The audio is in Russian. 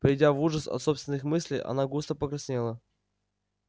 придя в ужас от собственных мыслей она густо покраснела